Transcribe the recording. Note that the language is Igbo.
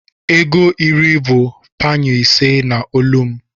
ego iri bu panyụ ise na olu m